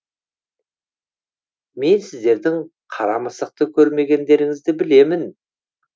мен сіздердің қара мысықты көргендеріңізді білемін